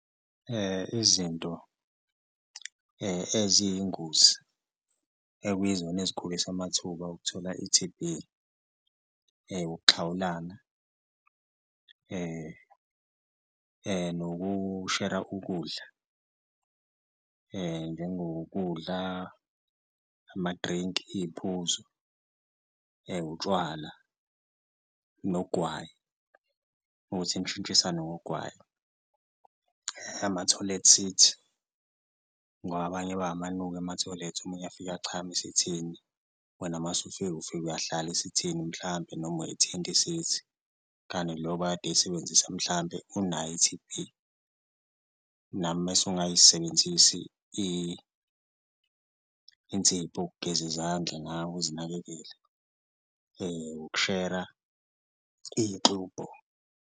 Izinto eziyingozi ekuyizona ezikhulisa amathuba okuthola i-T_B ukuxhawulana nokushera ukudla njengokudla, amadrinki, iyiphuzo, utshwala nogwayi ukuthi nishintshisane, ngogwayi, ama-toilet seat ngoba abanye bangamanuku emathoyilethi. Omunye afike achame esithini wena uma usufika ufika uyahlala esithini mhlampe noma uyayithinta isithi kanti lo obekade eyisebenzisa mhlampe unayo i-T_B, nami mese ungayisebenzisi insipho ukugeza izandla nawe uzinakekele, ukushera iy'xubho.